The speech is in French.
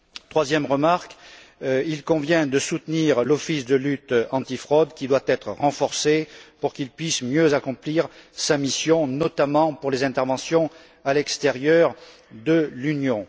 Troisième point il convient de soutenir l'Office de lutte antifraude qui doit être renforcé pour qu'il puisse mieux accomplir sa mission, notamment pour les interventions en dehors de l'Union.